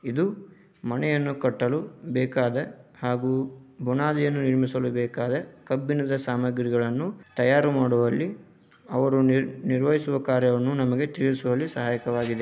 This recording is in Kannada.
ಇದು ಮನೆಯನ್ನು ಕಟ್ಟಲು ಬೇಕಾದ ಹಾಗು ಗುಣಾದೀಯನ್ನು ನಿರ್ಮಿಸಲು ಬೇಕಾದ ಕಬ್ಬಿಣದ ಸಾಮಗ್ರಿಗಳನ್ನು ತಯರು ಮಾಡುವಲ್ಲಿ ಅವರು ನಿರ್ವಹಿಸುವ ಕಾರ್ಯವನ್ನು ನಮಗೆ ತಿಳಿಸುವಲ್ಲಿ ಸಹಾಯಕವಾಗಿದೆ.